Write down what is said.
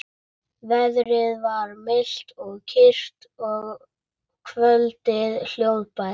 Veðrið var milt og kyrrt og kvöldið hljóðbært.